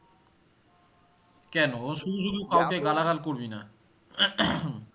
কেন? ও শুধু শুধু করবিনা